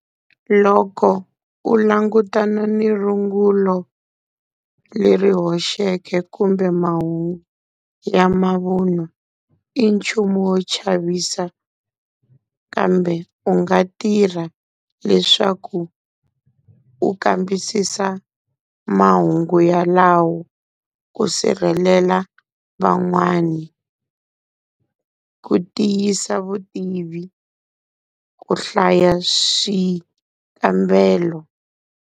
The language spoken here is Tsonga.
Loko u langutana ni rungulo leri hoxeke kumbe mahungu ya mavunwa, i nchumu wo chavisa, kambe u nga tirha leswaku u kambisisa mahungu yalawo ku sirhelela van'wani, ku tiyisa vutivi, ku hlaya swikambelo.